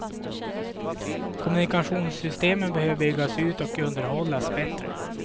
Kommunikationssystemen behöver byggas ut och underhållas bättre.